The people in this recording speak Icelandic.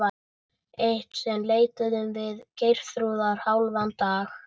Eitt sinn leituðum við Geirþrúðar hálfan dag.